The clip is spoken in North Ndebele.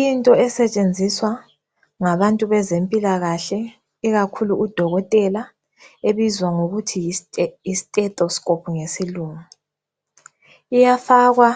Into esetshenziswa ngabantu bezempilakahle ikakhulu udokotela ebizwa ngokuthi yi stethoscope ngesilungu, iyafakwa